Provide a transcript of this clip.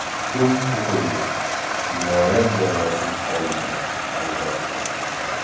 Hukm o‘qildi, jinoyat jazosiz qolmadi, albatta.